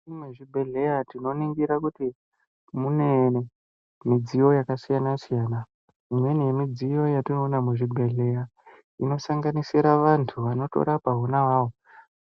Tiri mu zvibhedhlera tino ningira kuti mune midziyo yaka siyana siyana imweni ye midziyo yatino ona mu zvibhedhlera ino sanganisira vantu vanoto rapa wona awawo